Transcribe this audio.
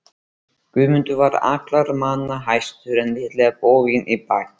Guðmundur var allra manna hæstur en lítillega boginn í baki.